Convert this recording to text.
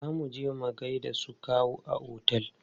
Zo muje mu gaida su kawu a otel!